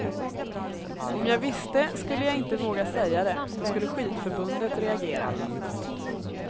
Om jag visste skulle jag inte våga säga det, då skulle skidförbundet reagera.